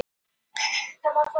Andakílsvirkjun